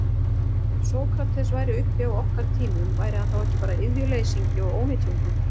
Ef Sókrates væri uppi á okkar tímum, væri hann þá ekki bara iðjuleysingi og ónytjungur?